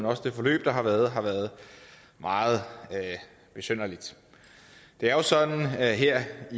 også det forløb der har været har været meget besynderligt det er jo sådan her her